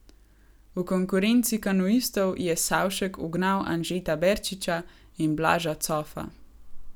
V konkurenci kanuistov je Savšek ugnal Anžeta Berčiča in Blaža Cofa.